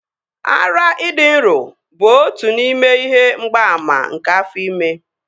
Ara ịdị nro bụ otu n'ime ihe mgbaàmà nke afọ ime